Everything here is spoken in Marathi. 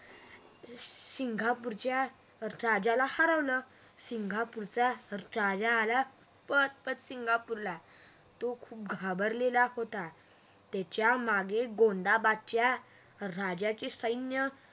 सिंगापूरच्या राजाला हरवलं सिंगापूरच्या राजा आला पण सिंगापूरला घाबरलेला होता त्याच्यामागे गोंधाबदच्याराजाचे सैन्य